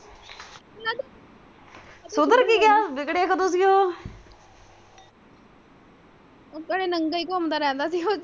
ਨੰਗਾ ਹੀ ਘੁੰਮਦਾ ਰਹਿੰਦਾ ਸੀ ਉਹ।